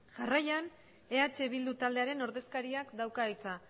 jarraian eh bildu taldearen ordezkariak dauka hitza